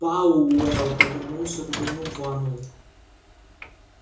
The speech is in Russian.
пауэлл повернулся к доновану